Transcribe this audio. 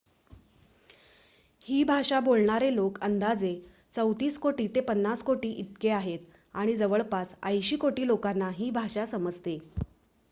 ही भाषा बोलणारे लोक अंदाजे ३४ कोटी ते ५० कोटी इतके आहेत आणि जवळपास ८० कोटी लोकांना ही भाषा समजते